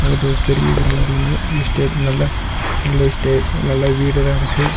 பட்டு ஒரு பெரிய கிரவுண்டு ஒன்னு எஸ்டேட் நல்லா நல்ல எஸ்டேட் நல்லா வீடெல்லாம் இருக்கு.